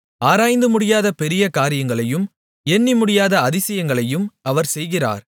ஆராய்ந்து முடியாத பெரிய காரியங்களையும் எண்ணமுடியாத அதிசயங்களையும் அவர் செய்கிறார்